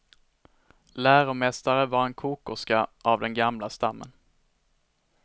Läromästare var en kokerska av den gamla stammen.